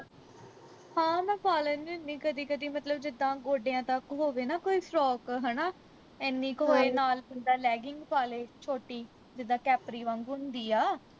ਹਾਂ ਮੈਂ ਪਾ ਲੈਣੀ ਹੁੰਦੀ ਕਦੀ ਕਦੀ ਮਤਲਬ ਜਿੱਦਾ ਗੋਡਿਆਂ ਤੱਕ ਹੋਵੇ ਨਾ ਕੋਈ frock ਹਣਾ ਏਨੀ ਕੁ ਹੋਏ ਨਾਲ ਬੰਦਾ legging ਪਾ ਲੇ ਛੋਟੀ ਜਿੱਦਾ caffrey ਵਾਗੂੰ ਹੁੰਦੀ ਆ